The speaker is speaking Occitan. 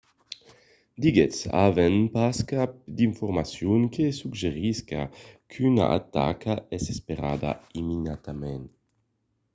diguèt avèm pas cap d'informacion que suggerisca qu'una ataca es esperada imminentament